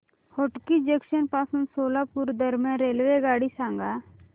Hotgi junction पासून सोलापूर दरम्यान रेल्वेगाडी सांगा